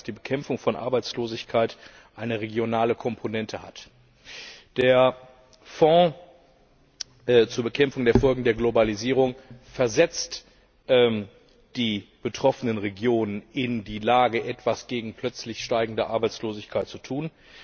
Das zeigt, dass die Bekämpfung von Arbeitslosigkeit eine regionale Komponente hat. Der Fonds zur Bekämpfung der Folgen der Globalisierung versetzt die betroffenen Regionen in die Lage, etwas gegen plötzlich steigende Arbeitslosigkeit zu tun.